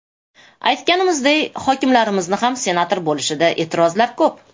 Aytganimizday hokimlarimizni ham senator bo‘lishida e’tirozlar ko‘p.